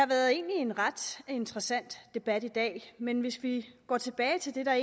været en ret interessant debat i dag men hvis vi går tilbage til det der